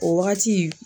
O wagati